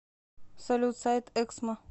салют сайт эксмо